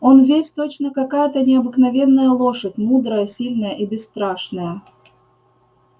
он весь точно какая-то необыкновенная лошадь мудрая сильная и бесстрашная